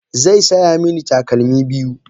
Zai saya mini takalmi biyu.